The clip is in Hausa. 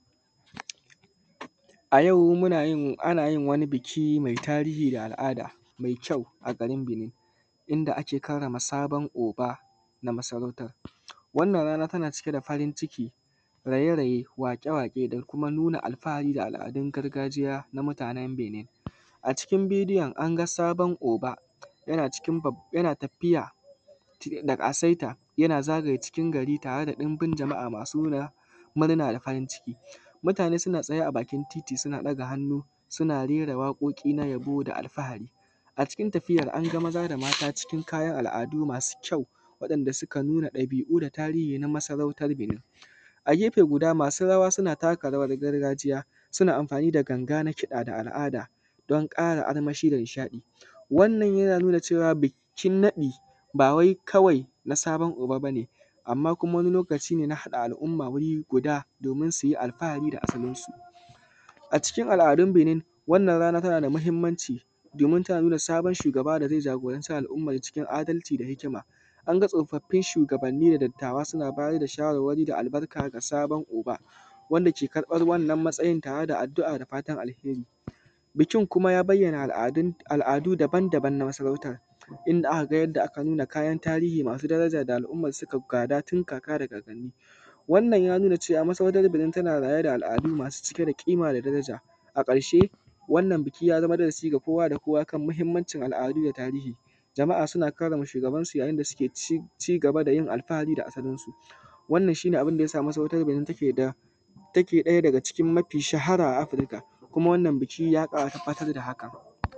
A yau ana wani biki mai tarihi da al’ada da kyau a garin binin inda ake karrama sabon oga na masarautan, wannan rana tana cike da farin ciki, raye-raye, waƙe-waƙe da kuma nuna alfahari da al’adun gargajiya ga mutanen Benin. A cikin bidiyon an ga sabon oga yana tafiya da ƙasaita, yana zagaye cikin gari tare da jama’a masu tarinyawa domin nuna murna da farin ciki, mutane suna tsaye a bakin titi, suna ɗaga hannu suna rere waƙoƙi na yabo da alfahari. A cikin tafiyan an ga maza da mata cikin kayan al’adu masu kyau da kuma ɗabi’un da tarihi na masarautan Benin, a gefe guda masu rawa suna taka rawan gargajiya suna, amfani da ganga na kiɗa da al’ada don ƙara armashi da nishaɗi, wannan yana nuna cewa bikin naɗi bawai kawai na sabon oga ba ne, amma wani lokaci na haɗa al’umma wuri guda domin su yi alfahari da asalinsu. A cikin al’adun Benin wannan rana tana da mahinmanci domin tana nuna sabon shugaba da zai jagoranci al’umma cikin adalci da hikima, an ga tsofaffin shugabanni da dattawa suna ba da shawarwari da albarka ga sabon oga wanda ke ƙarɓan matsayin tare da kiɗa da fatan alheri, bikin kuma ya bayyana al’adu daban-daban na masarautan inda aka ga, aka nuna kayan tarihi masu yawa wanda al’umma suka gada tin kaka da kakanni wannan ya nuna cewa masarautan Benin tana rayar da al’adu masu cike da ƙima da daraja. A ƙarshe wannan biki ya zama darasi ga kowa da kowa da kuma mahinmancin al’adu da tarihi, za ma a suna karrama shugabansu yayin da suke cigaba da yin alfahari da asalinsu, wannan shi ne abunda ya sama masarautan Benin take ɗaya daga cikin mafi shahara a Afrika kuma wannan biki ya ƙara tabbatar da haka.